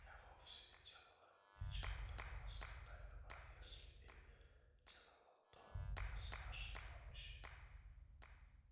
я вовсе не делала ничего такого скандального а если и делала то без вашей помощи